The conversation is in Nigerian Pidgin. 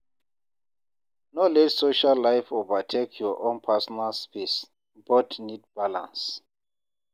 No let social life overtake your own personal space; both need balance.